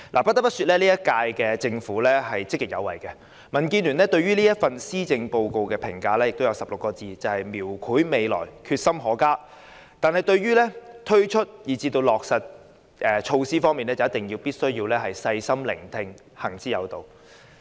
不得不說，本屆政府積極有為，民建聯對這份施政報告的評價是16個字，便是"描繪未來，決心可嘉"，而對於推出以至落實措施時則必須"細心聆聽，行之有道"。